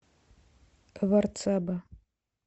варцаба